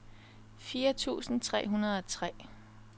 firs tusind tre hundrede og tre